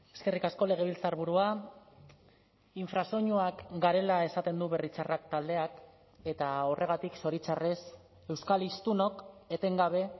eskerrik asko legebiltzarburua infrasoinuak garela esaten du berri txarrak taldeak eta horregatik zoritxarrez euskal hiztunok etengabe